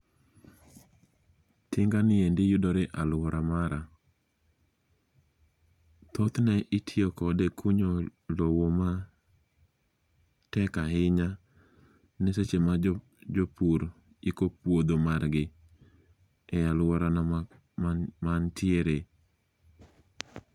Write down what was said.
Tinga niendi yudore e aluora mara. Thothne itiyo kode e kunyo lowo matek ahinya ma seche ma jopur iko puodho margi e aluorana ma antiere.